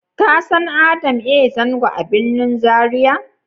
ka san Adam A Zango a birnin Zaria?